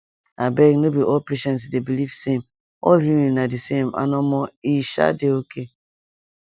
abeg no be all patient dey believe same all healing na di same and omo e um dey okay